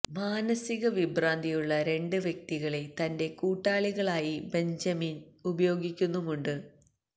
മാനസിക വിഭ്രാന്തിയുള്ള രണ്ട് വ്യക്തികളെ തന്റെ കൂട്ടാളികളായി ബെഞ്ചമിൻ ഉപയോഗിക്കുന്നുമുണ്ട്